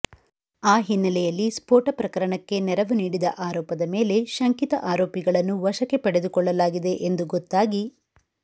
ಆ ಹಿನ್ನೆಲೆಯಲ್ಲಿ ಸ್ಫೋಟ ಪ್ರಕರಣಕ್ಕೆ ನೆರವು ನೀಡಿದ ಆರೋಪದ ಮೇಲೆ ಶಂಕಿತ ಆರೋಪಿಗಳನ್ನು ವಶಕ್ಕೆ ಪಡೆದುಕೊಳ್ಳಲಾಗಿದೆ ಎಂದು ಗೊತ್ತಾಗಿ